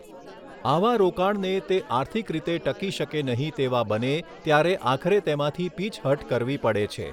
આવા રોકાણને તે આર્થિક રીતે ટકી શકે નહીં તેવા બને ત્યારે આખરે તેમાંથી પીછહટ કરવી પડે છે.